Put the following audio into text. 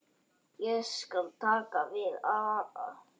Ég skal taka við Ara.